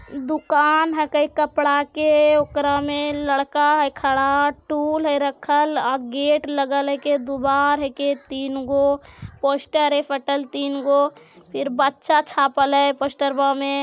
दुकान हके कपड़ा के ओकरा में लड़का है खड़ा टूल है रखल अ गेट लगल हीके दीवार हैके तीन गो पोस्टर है फटल तीन गो फिर बच्चा छापल है पोस्टरवा में।